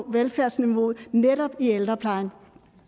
velfærdsniveauet netop i ældreplejen